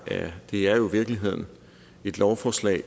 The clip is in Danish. det det er jo i virkeligheden et lovforslag